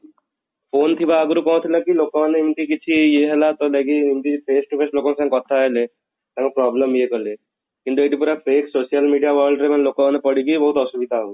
phone ଥିବା ଆଗରୁ କ'ଣ ହଉଥିଲା କି ଲୋକ ମାନେ ଏମିତି କିଛି ଇଏ ହେଲା ତ ଲାଗି ଏମିତି face to face ଲୋକଙ୍କ ସାଙ୍ଗେ କଥା ହେଲେ ତାଙ୍କ problem ଇଏ କଲେ, କିନ୍ତୁ ଏଇଠି ପୁରା fake social media ମାନଙ୍କର ଲୋକ ମାନେ ପଡିକି ବହୁତ ଅସୁବିଧା ହଉଛି